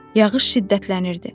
Yağış şiddətlənirdi.